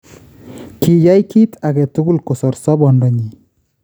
Kiyaai kiit aketugul kosoor sobondonyiin